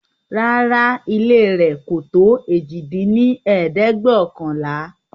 Rárá ooo, ilé rẹ̀ kò tó èjì dín ní ẹ̀ẹ́dẹ́gbẹ́ọ̀kànlá